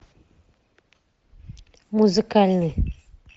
музыкальный